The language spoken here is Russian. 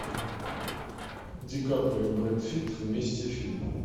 ди каприо брэд питт вместе фильм